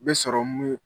Bɛ sɔrɔ mun ye